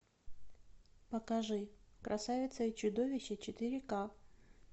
покажи красавица и чудовище четыре ка